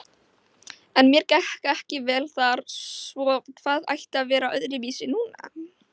En mér gekk ekki vel þar, svo hvað ætti að vera öðruvísi núna?